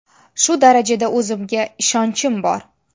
Shu darajada o‘zimga ishonchim bor.